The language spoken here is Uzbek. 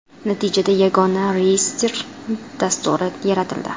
Natijada yagona reyestr dasturi yaratildi.